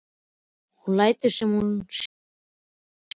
Hún lætur sem hún sjái hann ekki.